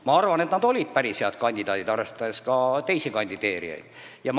Ma arvan, et nad olid päris head kandidaadid teiste kandidaatidega võrreldes.